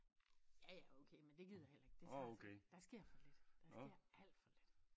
Ja ja okay men det gider jeg heller ikke det tager så der sker for lidt der sker alt for lidt